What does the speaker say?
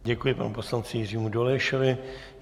Děkuji panu poslanci Jiřímu Dolejšovi.